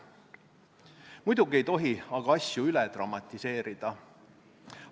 Muidugi ei tohi aga asju üle dramatiseerida.